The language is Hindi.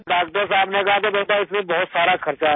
डॉक्टर साहब ने कहा था बेटा इसमें बहुत सारा खर्चा आयेगा